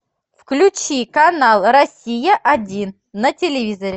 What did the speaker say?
включи канал россия один на телевизоре